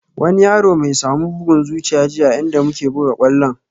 Wani yaro my samu bugun zuciya jiya a inda muke buga kwallon